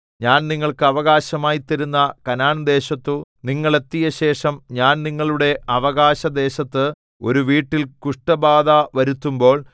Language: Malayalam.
ഞാൻ നിങ്ങൾക്ക് അവകാശമായി തരുന്ന കനാൻദേശത്തു നിങ്ങൾ എത്തിയശേഷം ഞാൻ നിങ്ങളുടെ അവകാശദേശത്ത് ഒരു വീട്ടിൽ കുഷ്ഠബാധ വരുത്തുമ്പോൾ